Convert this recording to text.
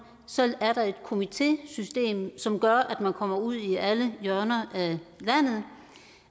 så er der et komitésystem som gør at man kommer ud i alle hjørner